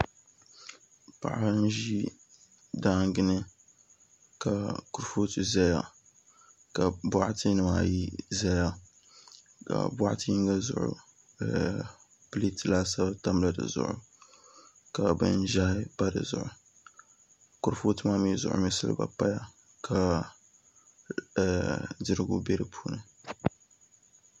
Papa n ʒi daangi ni ka kurifooti ʒɛya ka boɣati nim ayi ʒɛya ka boɣati yinga pileet laasabu tamla di zuɣu ka binʒiɛhi pa di zuɣu kurifooti ŋo mii zuɣu silba paya ka dirigu bɛ di puuni